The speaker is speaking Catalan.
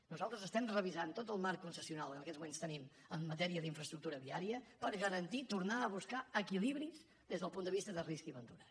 nosaltres estem revisant tot el marc concessional que en aquests moments tenim en matèria d’infraestructura viària per garantir tornar a buscar equilibris des del punt de vista de risc i ventura